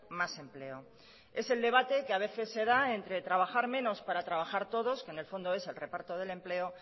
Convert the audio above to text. más empleo es el debate que a veces se da entre trabajar menos para trabajar todos que en el fondo es el reparto del empleo